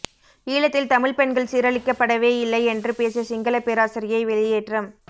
ஈழத்தில் தமிழ்ப் பெண்கள் சீரழிக்கப்படவேயில்லை என்று பேசிய சிங்களப் பேராசிரியை வெளியேற்றம்